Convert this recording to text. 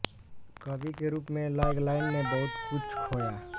कवि के रूप में लैग्लैंड ने बहुत कुछ खोया